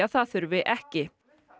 það þurfi ekki